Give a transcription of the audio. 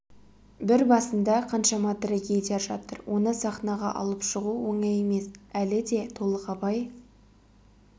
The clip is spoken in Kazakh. бір басында қаншама трагедия жатыр оны сахнаға алып шығу оңай емес әлі де толық абай